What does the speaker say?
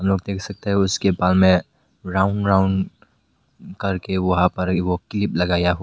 आप देख सकते हैं उसके बाल में राउंड राउंड करके वहां पर वो क्लिप लगाया हुआ--